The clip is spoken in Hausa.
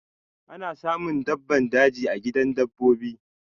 Ana samun dabbban daji a gidan dabbobi.